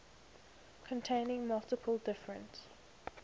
containing multiple different